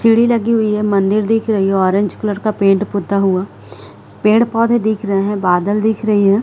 सीढ़ी लगी हुई है मंदिर दिख रही है ऑरेंज कलर का पेंट पोता हुआ है पेड़ पौधे-दिख रहे है बादल दिख रही है।